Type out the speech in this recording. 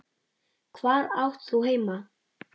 Hvar átt þú heima?